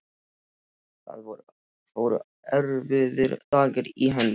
Það fóru erfiðir dagar í hönd.